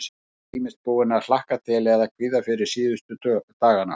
Hann var ýmist búinn að hlakka til eða kvíða fyrir síðustu dagana.